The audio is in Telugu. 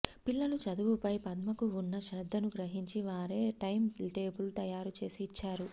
పిల్లలు చదువుపై పద్మకు ఉన్న శ్రద్ధను గ్రహించి వారే టైం టేబుల్ తయారు చేసి ఇచ్చారు